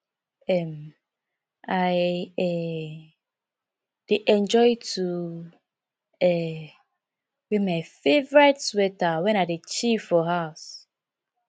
um i um dey enjoy to um wear my favorite sweater wen i dey chill for house